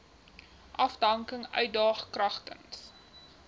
afdanking uitdaag kragtens